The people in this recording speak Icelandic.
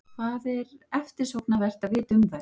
Hvað er eftirsóknarvert að vita um þær?